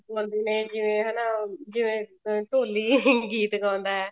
ਕਰਦੇ ਨੇ ਜਿਵੇਂ ਹਨਾ ਜਿਵੇਂ ਢੋਲੀ ਗੀਤ ਗਾਉਂਦਾ ਹੈ